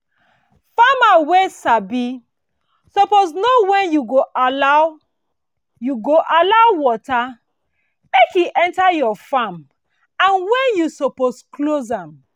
farmer wey sabi suppose know when you go allow you go allow water make e enter your farm and when you suppose close am